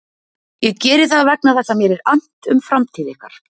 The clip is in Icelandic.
Ég geri það vegna þess að mér er annt um framtíð ykkar.